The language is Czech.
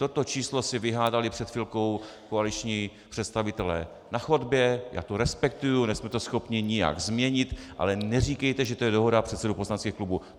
Toto číslo si vyhádali před chvilkou koaliční představitelé na chodbě, já to respektuji, nejsme to schopni nijak změnit, ale neříkejte, že to je dohoda předsedů poslaneckých klubů.